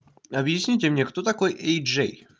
объясните мне кто такой эйджей